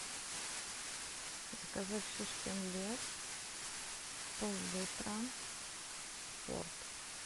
заказать шишкин лес пол литра спорт